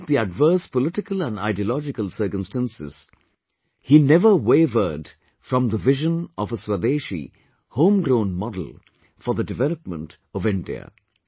Despite the adverse political and ideological circumstances, he never wavered from the vision of a Swadeshi, home grown model for the development of India